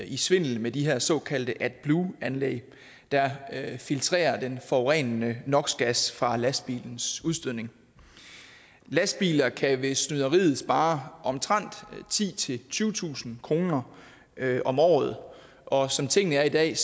i svindel med de her såkaldte adblue anlæg der filtrerer den forurenende nox gas fra lastbilens udstødning lastbiler kan ved snyderiet spare omtrent titusind tyvetusind kroner om året og som tingene er i dag